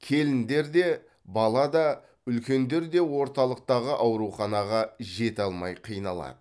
келіндер де бала да үлкендер де орталықтағы ауруханаға жете алмай қиналады